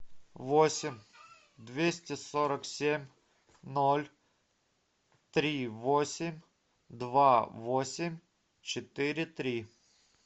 восемь двести сорок семь ноль три восемь два восемь четыре три